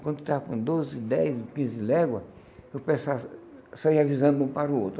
Quando eu estava com doze, dez, quinze léguas, eu pensava, saia avisando de um para o outro.